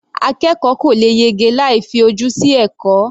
Akẹ́kọ̀ọ́ kò lè yege láì fi ojú sí ẹ̀kọ́ wọn.